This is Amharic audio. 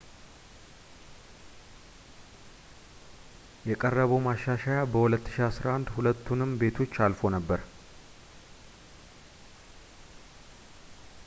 የቀረበው ማሻሻያ በ2011 ሁለቱንም ቤቶች አልፎ ነበር